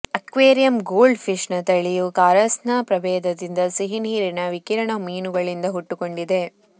aquarium goldfish ನ ತಳಿಯು ಕಾರಾಸ್ನ ಪ್ರಭೇದದಿಂದ ಸಿಹಿನೀರಿನ ವಿಕಿರಣ ಮೀನುಗಳಿಂದ ಹುಟ್ಟಿಕೊಂಡಿದೆ